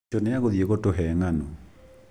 Cũcũ nĩ egũthiĩ gũtũhe ng'ano